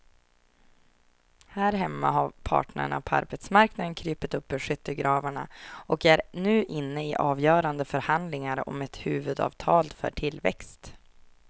Här hemma har parterna på arbetsmarknaden krupit upp ur skyttegravarna och är nu inne i avgörande förhandlingar om ett huvudavtal för tillväxt.